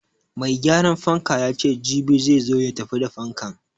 Mai gyaran fanka yace jibi zai zo ya tafi da fankan.